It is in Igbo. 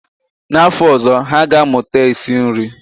N'afọ ọzọ, ha ga-amụta esi nri